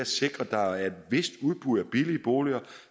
sikrer at der er et vist udbud af billige boliger